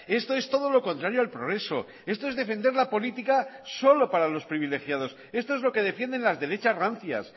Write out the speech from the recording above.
esto es todo lo contrario al progreso esto es defender la política solo para los privilegiados esto es lo que defienden las derechas rancias